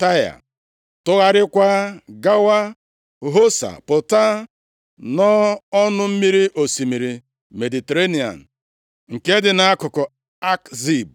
Taịa, tụgharịakwa gawa Hosa pụta nʼọnụ mmiri osimiri Mediterenịa nke dị nʼakụkụ Akzib